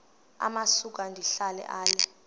amasuka ndihlala ale